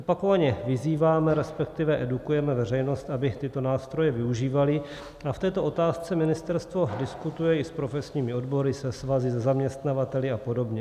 Opakovaně vyzýváme, respektive edukujeme veřejnost, aby tyto nástroje využívala, a v této otázce ministerstvo diskutuje i s profesními odbory, se svazy, se zaměstnavateli a podobně.